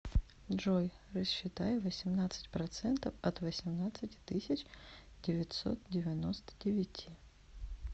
джой рассчитай восемнадцать процентов от восемнадцати тысяч девятьсот девяносто девяти